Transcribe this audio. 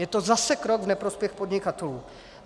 Je to zase krok v neprospěch podnikatelů.